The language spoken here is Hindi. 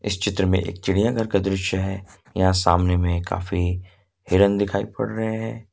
इस चित्र में एक चिड़ियाघर का दृश्य है यहां सामने में काफी हिरण दिखाई पड़ रहे हैं।